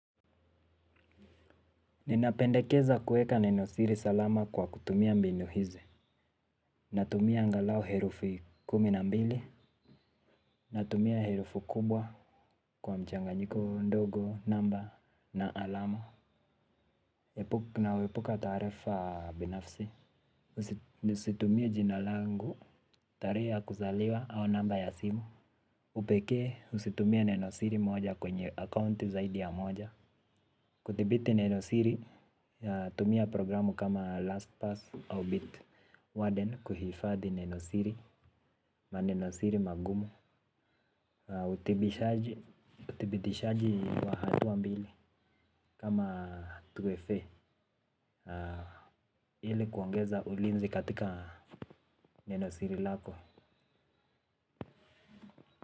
Ninapendekeza kueka nenosiri salama kwa kutumia mbinu hizi. Natumia angalau herufu kumi na mbili. Natumia herufu kubwa kwa mchanganyiko ndogo, namba na alama. Nauwepuka taarifa binafsi. Situmii jina langu, tarehe ya kuzaliwa au namba ya simu. Upekee usitumie nenosiri moja kwenye akaunti zaidi ya moja. Kuthibiti nenosiri tumia programu kama last pass au bit warden kuhifadhi nenosiri manenosiri magumu. Uthibitishaji wa hatua mbili kama 2FA ili kuongeza ulinzi katika nenosiri lako.